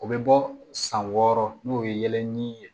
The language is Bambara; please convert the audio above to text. O bɛ bɔ san wɔɔrɔ n'o ye yɛlɛnnin ye